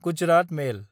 Gujarat मेल